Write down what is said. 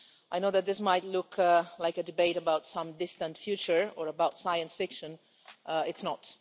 I know that this might look like a debate about some distant future or about science fiction it's not.